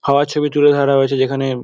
হওয়ার ছবি তুলে ধরা হয়েছে যেখানে।